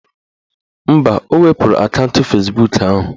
Mba, o wepuru akaụntụ Fezbuk ahụ